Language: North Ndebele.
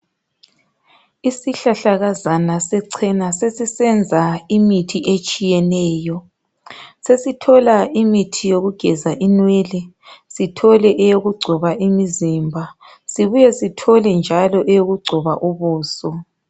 Isihlahlakazana sechena sesisenza imithi etshiyeneyo sesithola imithi yokugeza inwele sithole eyokugcoba imizimba sibuye sithole njalo eyokugcoba ubuso.